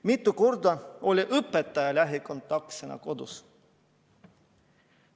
Mitu korda oli õpetaja lähikontaktsena kodus?